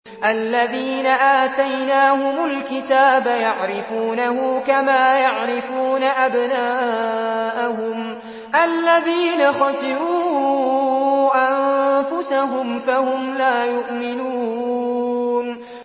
الَّذِينَ آتَيْنَاهُمُ الْكِتَابَ يَعْرِفُونَهُ كَمَا يَعْرِفُونَ أَبْنَاءَهُمُ ۘ الَّذِينَ خَسِرُوا أَنفُسَهُمْ فَهُمْ لَا يُؤْمِنُونَ